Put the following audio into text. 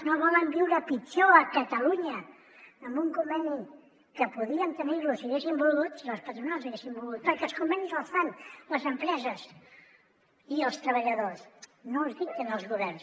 no volen viure pitjor a catalunya amb un conveni que podíem tenir si haguéssim volgut si les patronals haguessin volgut perquè els convenis els fan les empreses i els treballadors no els dicten els governs